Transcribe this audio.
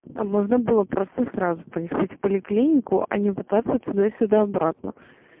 а можно было просто сразу поехать в поликлинику а не пытаться туда-сюда-обратно